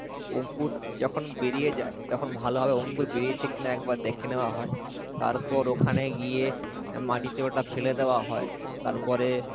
অঙ্কুর যখন বেরিয়ে যায় তখন ভালোভাবে অঙ্কুর বেরিয়েছে কিনা একবার দেখে নেওয়া হয়, তারপর ওখানে গিয়ে মাটিতে ওটা ফেলে দেওয়া হয়, তারপরে,